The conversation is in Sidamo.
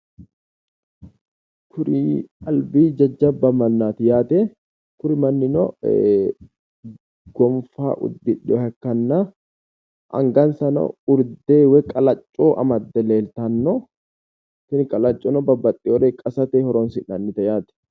Tini albi jajjabba mannaati yaate kuri mannino goonfa uddidhewoha ikkanna angassara urde woy qalacco amadde leeltanno tini qalaccono babbaxxewore qasate horonsi'nannite yaate.